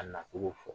A nacogo fɔ